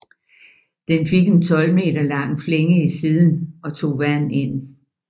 Den fik en 12 meter lang flænge i siden og tog vand ind